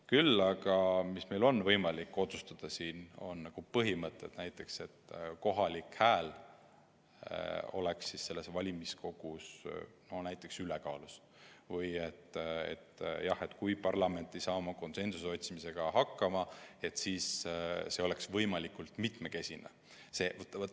Küll aga on meil võimalik otsustada ära põhimõtted, näiteks see, et kohalik hääl oleks valimiskogus ülekaalus, või see, et kui parlament ei saa konsensuse otsimisega hakkama, siis oleks võimalikult mitmekesine.